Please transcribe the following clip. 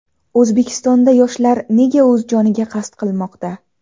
O‘zbekistonda yoshlar nega o‘z joniga qasd qilmoqda?.